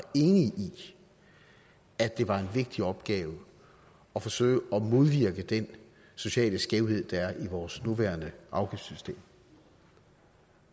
enige i at det var en vigtig opgave at forsøge at modvirke den sociale skævhed der er i vores nuværende afgiftssystem